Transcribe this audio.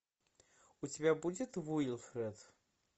у тебя будет уилфред